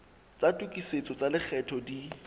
tsa tokisetso tsa lekgetho di